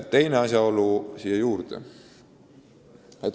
Teine asjaolu veel.